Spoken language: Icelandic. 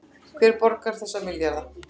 Hverjir borga þessa milljarða